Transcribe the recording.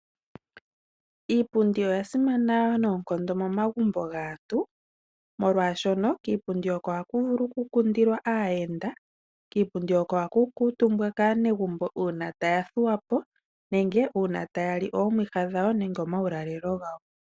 Iipundi oya simana noonkondo momagumbo gaantu oshoka kiipundi oko haku vulu okukundilwa aayenda, oko hakukuutumbwa kaanegumbo uuna taya thuwapo nenge uuna taya li oomwiha dhawo nenge omulalelo gawo.